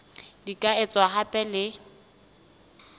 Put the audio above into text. di ka etswa hape le